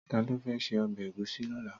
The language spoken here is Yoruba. Tàló fè sé òbè égúsì lòlá?